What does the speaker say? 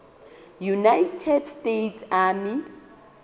united states army